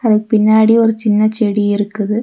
பின்னாடி ஒரு சின்ன செடி இருக்குது.